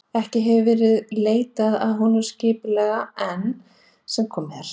Ekki hefur þó verið leitað að honum skipulega enn sem komið er.